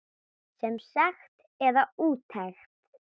Sem sekt eða úttekt?